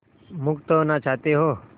मुक्त होना चाहते हो